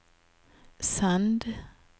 send